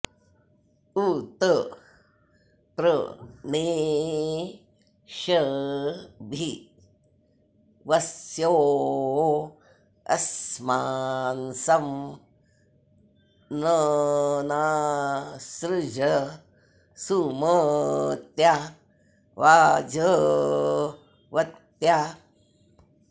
उ॒त प्र णे॑ष्य॒भि वस्यो॑ अ॒स्मान्सं नः॑ सृज सुम॒त्या वाज॑वत्या